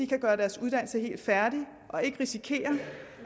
kan gøre deres uddannelse helt færdig og ikke risikerer